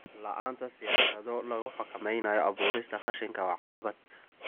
La'aanta siyaasado lagu xakameynayo abuurista qashinka waa caqabad.